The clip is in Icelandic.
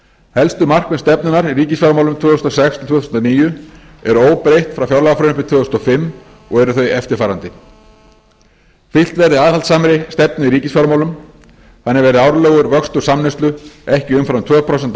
helstu markmið stefnunnar í ríkisfjármálum tvö þúsund og sex til tvö þúsund og níu eru óbreytt frá fjárlagafrumvarpi tvö þúsund og fimm og eru þau eftirfarandi fylgt verði aðhaldssamri stefnu í ríkisfjármálum þannig verði árlegur vöxtur samneyslu ekki umfram tvö prósent að